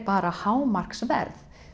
bara hámarksverð